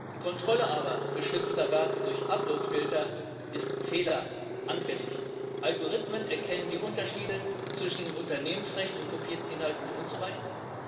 Die Kontrolle geschützter Werke durch Uploadfilter ist aber fehleranfällig. Algorithmen erkennen die Unterschiede zwischen Unternehmensrecht und kopierten Inhalten nur unzureichend.